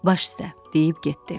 Baş üstə deyib getdi.